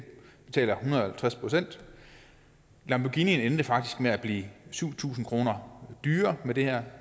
betaler en hundrede og halvtreds procent lamborghinien endte faktisk med at blive syv tusind kroner dyrere med det her